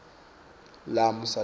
lami usale kahle